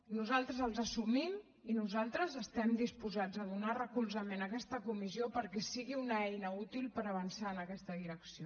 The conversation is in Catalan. nosaltres els assumim i nosaltres estem disposats a donar recolzament a aquesta comissió perquè sigui una eina útil per avançar en aquesta direcció